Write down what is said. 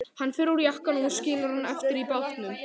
Hann fer úr jakkanum og skilur hann eftir í bátnum.